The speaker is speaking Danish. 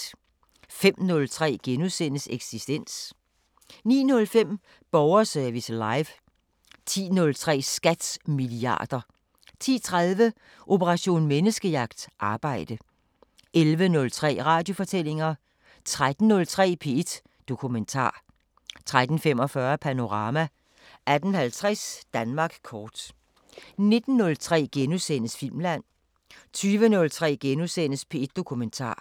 05:03: Eksistens * 09:05: Borgerservice Live 10:03: SKATs milliarder 10:30: Operation Menneskejagt: Arbejde 11:03: Radiofortællinger 13:03: P1 Dokumentar 13:45: Panorama 18:50: Danmark kort 19:03: Filmland * 20:03: P1 Dokumentar *